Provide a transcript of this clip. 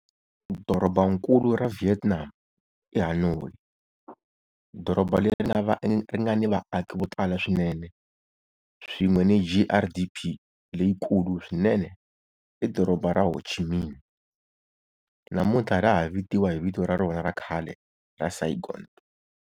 Dorobankulu ra Vietnam i Hanoi, doroba leri nga ni vaaki vo tala swinene swin'we ni GRDP leyikulu swinene i Doroba ra Ho Chi Minh namuntlha ra ha tiviwa hi vito ra rona ra khale ra Saigon.